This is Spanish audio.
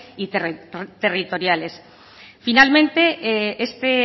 y territoriales finalmente este